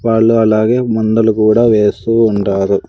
వాళ్ళు అలాగే మందులు కూడా వేస్తూ ఉంటారు.